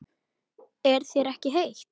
Er þér ekki heitt?